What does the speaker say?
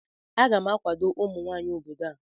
Aga m akwado ụmụnwanyị obodo a